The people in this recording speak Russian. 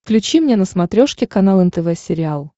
включи мне на смотрешке канал нтв сериал